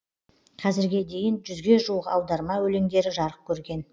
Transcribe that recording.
қазірге дейін жүзге жуық аударма өлеңдері жарық көрген